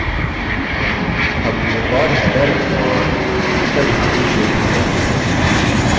हम record header और footer भाग भी जोड़ सकते हैं